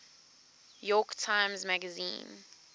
york times magazine